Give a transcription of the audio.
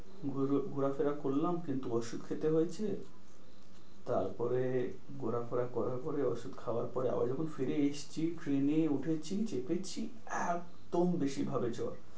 ঘোরা ঘোরাফেরা করলাম, কিন্তু ওষুধ খেতে হয়েছে। তারপরে ঘোরাফেরা করার পরে ওষুধ খাওয়ার পরে আবার যখন ফিরে এসছি ট্রেনে উঠেছি চেপেছি একদম বেশি ভাবে জ্বর।